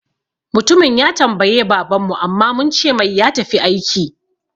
Mutumin ya tambaye baban mu amma muncemai ya tafi aiki